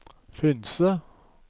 Finse